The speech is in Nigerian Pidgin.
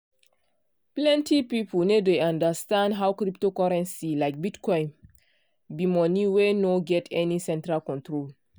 plenty people no dey understand how cryptocurrency like bitcoin be money wey no get any central control.